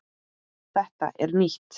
Þetta er nýtt!